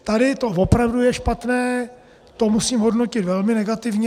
Tady to opravdu je špatné, to musím hodnotit velmi negativně.